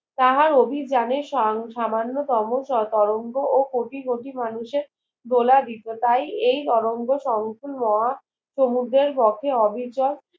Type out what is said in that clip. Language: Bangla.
তাহার অভিযানে সামান্য তম ও তরঙ্গ ও কোটি কোটি মানুষের দুলা ব্রিক্রেতায় এই তরঙ্গ সংকল্প মহা সমুদ্রের পক্ষে অবিচর